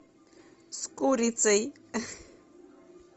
с курицей